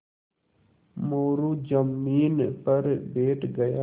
मोरू ज़मीन पर बैठ गया